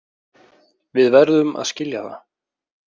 Við verðum að skilja það.